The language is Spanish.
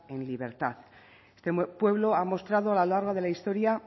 en libertad este pueblo ha mostrado a lo largo de la historia